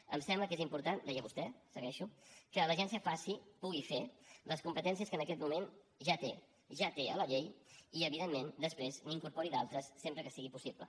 em sembla que és important deia vostè segueixo que l’agència faci pugui fer les competències que en aquest moment ja té ja té a la llei i evidentment després n’incorpori d’altres sempre que sigui possible